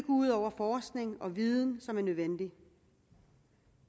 ud over forskning og viden som er nødvendig